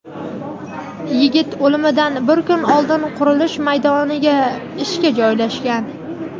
Yigit o‘limidan bir kun oldin qurilish maydoniga ishga joylashgan.